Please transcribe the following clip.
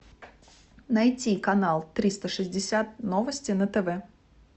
найти канал триста шестьдесят новости на тв